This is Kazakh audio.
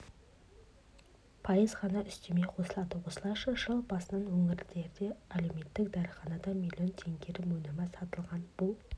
пайыз ғана үстеме қосылады осылайша жыл басынан өңірдегі әлеуметтік дәріханада миллион теңгенің өнімі сатылған бұл